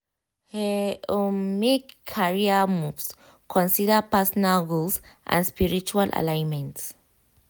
he um make career moves consider personal goals um and spiritual alignment.